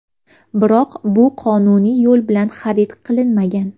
Biroq bu qonuniy yo‘l bilan xarid qilinmagan.